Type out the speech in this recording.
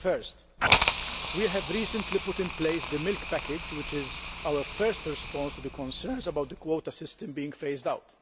Firstly, we have recently put in place the Milk Package, which is our first response to the concerns about the quota system being phased out.